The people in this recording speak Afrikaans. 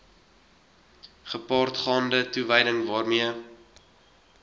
gepaardgaande toewyding waarmee